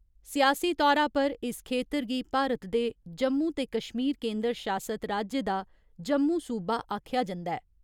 सियासी तौरा पर इस खेतर गी भारत दे जम्मू ते कश्मीर केंदर शासत राज्य दा जम्मू सूबा आखेआ जंदा ऐ।